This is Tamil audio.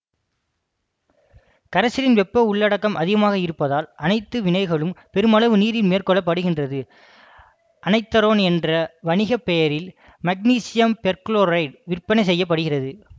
கரைசலின் வெப்ப உள்ளடக்கம் அதிகமாக இருப்பதால் அனைத்து வினைகளும் பெருமளவு நீரில் மேற்கொள்ளபடுகின்றது அனைதரோன் என்ற வணிக பெயரில் மக்னீசியம் பெர்குளோரேட்டு விற்பனை செய்ய படுகிறது